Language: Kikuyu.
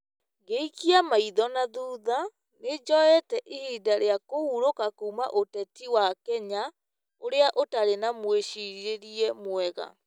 Ngĩikia maitho na thutha, nĩ njoete ihinda rĩa kũhurũka kuuma ũtetinĩ wa Kenya, ũrĩa ũtarĩ na mwĩcirĩrie mwega.